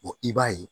i b'a ye